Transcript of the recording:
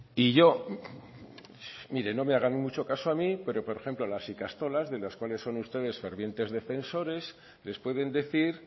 y yo mire no me hagan mucho caso a mí pero por ejemplo las ikastolas de los cuales son ustedes fervientes defensores les pueden decir